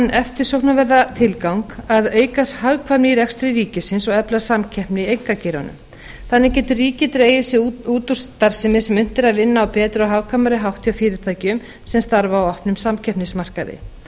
eftirsóknarverða tilgang að auka hagkvæmni í rekstri ríkisins og efla samkeppni í einkageiranum þannig getur ríkið dregið sig út úr starfsemi sem unnt er að vinna á betri og hagkvæmari hátt hjá fyrirtækjum sem starfa á opnum samkeppnismarkaði